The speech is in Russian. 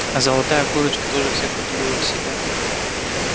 а золотая курочка тоже всех удивила в селе